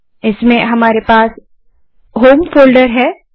इसमें हमारे पास होम फोल्डर है